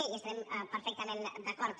amb això hi estarem perfectament d’acord